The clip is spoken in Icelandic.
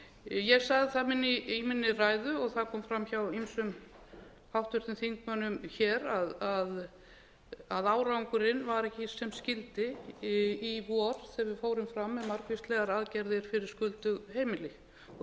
ég sagði það í minni ræðu og það kom fram hjá ýmsum háttvirtum þingmönnum hér að árangurinn var ekki sem skyldi í vor þegar við fórum fram með margvíslegar aðgerðir fyrir skuldug heimili og